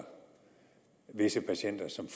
visse patienter som